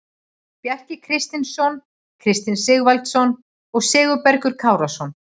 Bjarki Kristinsson, Kristinn Sigvaldason og Sigurbergur Kárason.